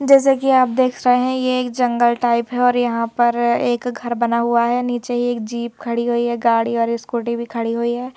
जैसे कि आप देख रहे हैं यह एक जंगल टाइप है और यहां पर एक घर बना हुआ है नीचे ही एक जीप खड़ी हुई है गाड़ी और स्कूटी भी खड़ी हुई है।